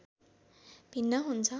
भिन्न हुन्छ